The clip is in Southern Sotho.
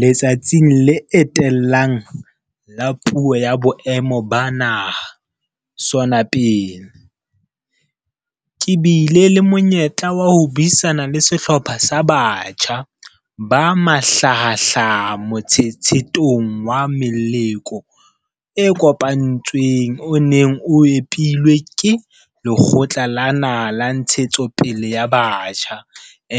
Letsatsing le etellang la Puo ya Boemo ba Naha, SoNA pele, ke bile le monyetla wa ho buisana le sehlopha sa batjha ba mahlahahlaha motshetshethong wa meloko e kopantsweng o neng o epilwe ke Lekgotla la Naha la Ntshetsopele ya Batjha,